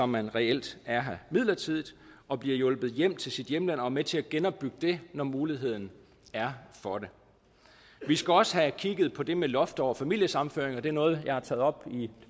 man reelt er her midlertidigt og bliver hjulpet hjem til sit hjemland og er med til at genopbygge det når muligheden er for det vi skal også have kigget på det med loft over familiesammenføringer det er noget jeg har taget op i